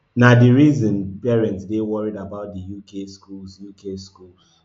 na di reason parents dey worried about di uk schools uk schools